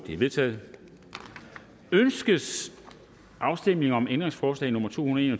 er vedtaget ønskes afstemning om ændringsforslag nummer to hundrede